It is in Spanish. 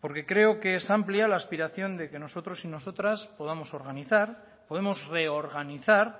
porque creo que es amplia la aspiración de que nosotros y nosotras podamos organizar podemos reorganizar